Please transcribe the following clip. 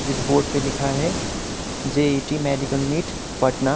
जिस बोर्ड पे लिखा है जे_ई_टी मेडिकल निट पटना --